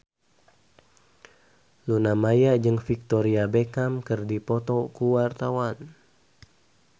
Luna Maya jeung Victoria Beckham keur dipoto ku wartawan